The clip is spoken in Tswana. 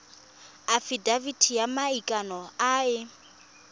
afitafiti ya maikano e e